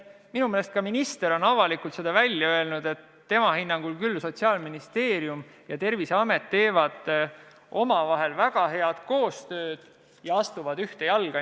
Minu meelest on minister avalikult öelnud, et tema hinnangul teevad Sotsiaalministeerium ja Terviseamet küll omavahel väga head koostööd ja astuvad ühte jalga.